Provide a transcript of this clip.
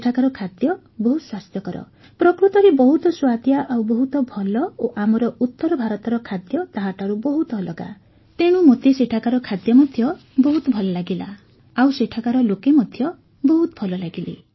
ସେଠାକାର ଖାଦ୍ୟ ବହୁତ ସ୍ୱାସ୍ଥ୍ୟକର ପ୍ରକୃତରେ ବହୁତ ସୁଆଦିଆ ଆଉ ବହୁତ ଭଲ ଓ ଆମର ଉତ୍ତର ଭାରତର ଖାଦ୍ୟ ତାହାଠାରୁ ବହୁତ ଅଲଗା ତେଣୁ ମୋତେ ସେଠାକାର ଖାଦ୍ୟ ମଧ୍ୟ ବହୁତ ଭଲ ଲାଗିଲା ଆଉ ସେଠାକାର ଲୋକେ ମଧ୍ୟ ବହୁତ ଭଲ ଲାଗିଲେ